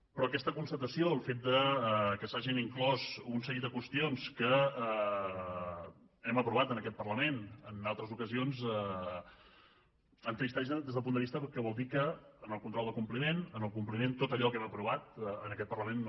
però aquesta constatació el fet que s’hagin inclòs un seguit de qüestions que hem aprovat en aquest parlament en altres ocasions entristeix des del punt de vista que vol dir que en el control de compliment en el compliment tot allò que hem aprovat en aquest parlament no